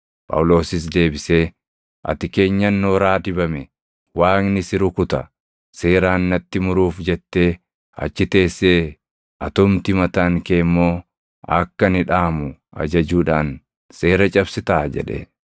Phaawulosis deebisee, “Ati keenyan nooraa dibame, Waaqni si rukuta! Seeraan natti muruuf jettee achi teessee atumti mataan kee immoo akka ani dhaʼamu ajajuudhaan seera cabsitaa?” jedhe.